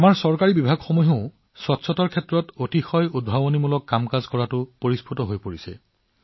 আমাৰ চৰকাৰী বিভাগবোৰো পৰিষ্কাৰ পৰিচ্ছন্নতাৰ দৰে বিষয়ত ইমান অভিনৱ হব পাৰে